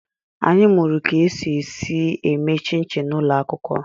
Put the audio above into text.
Anyị mụụrụ ka e si esi eme chịn chịn n'ụlọ akwụkwọ.